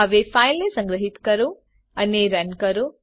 હવે ફાઈલને સંગ્રહીત કરો અને રન કરો